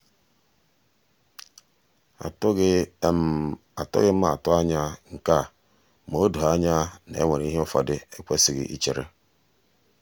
atụghị atụghị m atụ anya nke a ma o doo anya na e nwere ihe ụfọdụ ekwesịghị ichere.